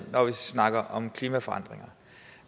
når vi snakker om klimaforandringer